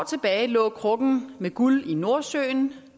tilbage lå krukken med guld i nordsøen